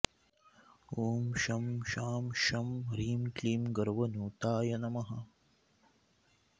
ॐ शं शां षं ह्रीं क्लीं गर्वनुताय नमः